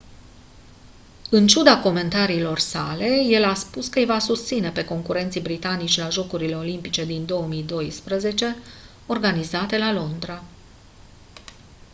în ciuda comentariilor sale el a spus că îi va susține pe concurenții britanici la jocurile olimpice din 2012 organizate la londra